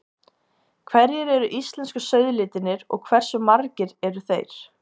Hverjir eru íslensku sauðalitirnir og hversu margir eru þeir?